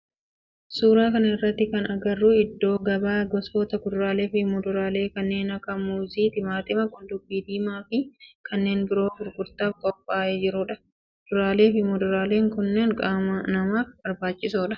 Suuraa kana irratti kan agarru iddoo gabaa gosoota kuduraalee fi muduraalee kanneen akka muuzii, timaatima, qullubbii diimaa fi kanneen biroo gurgurtaaf qophaa'ee jirudha. Kuduraalee fi muduraaleen kunneen qaama namaaf barbaachisoodha.